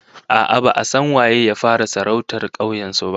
A'a, ba'a san waye ya fara sarautar kauyen su ba